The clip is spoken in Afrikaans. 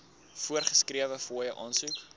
voorgeskrewe fooie aansoek